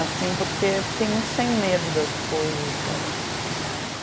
Assim, porque fiquei muito sem medo das coisas, sabe?